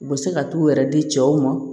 U bɛ se ka t'u yɛrɛ di cɛw ma